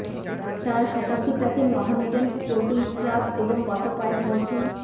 তারা শতাব্দী প্রাচীন মহমেডান স্পোর্টিং ক্লাব এবং গত কয়েক মরশুম